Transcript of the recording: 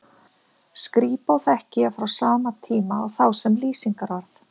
skrípó þekki ég frá sama tíma og þá sem lýsingarorð